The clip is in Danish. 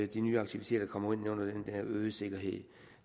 de nye aktiviteter kommer ind under den øgede sikkerhed